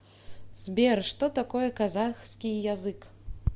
сбер что такое казахский язык